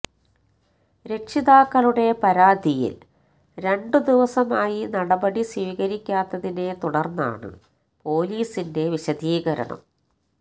രക്ഷിതാക്കളുടെ പരാതിയില് രണ്ട് ദിവസമായി നടപടി സ്വീകരിക്കാത്തതിനെ തുടര്ന്നാണ് പോലീസിന്റെ വിശദീകരണം